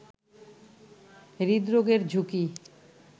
হৃদরোগের ঝুঁকি